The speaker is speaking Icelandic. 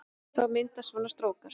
Þá myndast svona strókar